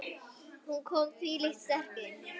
Hún kom þvílíkt sterk inn.